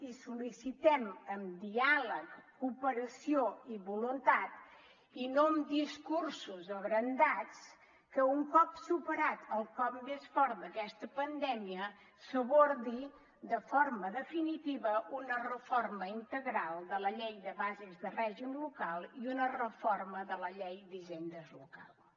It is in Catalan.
i sol·licitem amb diàleg cooperació i voluntat i no amb discursos abrandats que un cop superat el cop més fort d’aquesta pandèmia s’abordi de forma definitiva una reforma integral de la llei de bases de règim local i una reforma de la llei d’hisendes locals